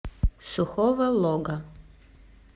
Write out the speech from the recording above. сухого лога